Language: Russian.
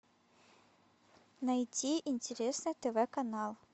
найти интересный тв канал